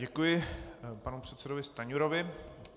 Děkuji panu předsedovi Stanjurovi.